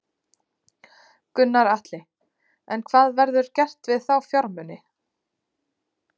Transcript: Gunnar Atli: En hvað verður gert við þá fjármuni?